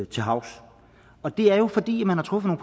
til havs og det er jo fordi man har truffet